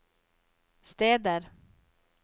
steder